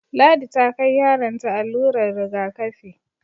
Ladi ta kai yaron ta allurar rigakafi